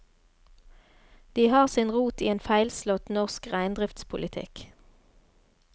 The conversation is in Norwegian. De har sin rot i en feilslått norsk reindriftspolitikk.